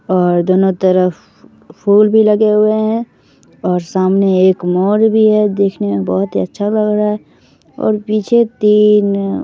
और दोनों तरफ फुल भी लगे हुए है और सामने एक मोर भी है देख में बहुत अच्छा लग रहा है और पीछे तीन ----